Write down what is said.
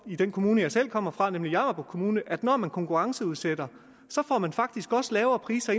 i den kommune jeg selv kommer fra nemlig jammerbugt kommune udsat at når man konkurrenceudsætter får man faktisk også lavere priser